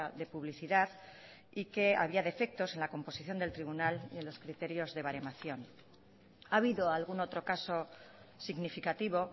de publicidad y que había defectos en la composición del tribunal y en los criterios de baremación ha habido algún otro caso significativo